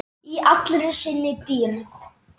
Í allri sinni dýrð.